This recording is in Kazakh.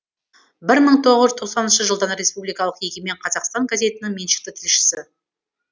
бір мын тоғыз жүз тоқсаныншы жылдан республикалық егемен қазақстан газетінің меншікті тілшісі